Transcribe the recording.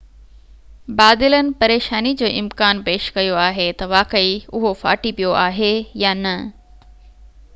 بادلن پريشاني جو امڪان پيش ڪيو آهي تہ واقعي اهو ڦاٽي پيو آهي يا نہ